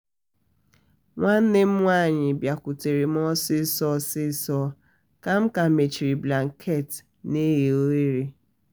nwanne m nwanyị bịakwutara m osiso m osiso ka m ka mechiri blanketị na eghe ughere